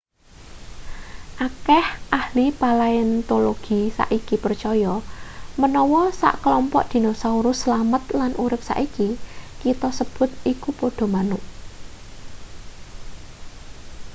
akeh ahli palaeontologi saiki percaya menawa sekelompok dinosaurus slamet lan urip saiki kita sebut iku padha manuk